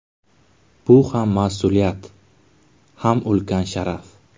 Bu ham mas’uliyat, ham ulkan sharaf.